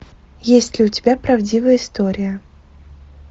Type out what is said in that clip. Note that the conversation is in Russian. есть ли у тебя правдивая история